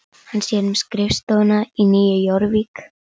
Hann sér um skrifstofuna í Nýju Jórvík.